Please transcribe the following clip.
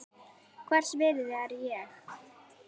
Hvers virði er ég?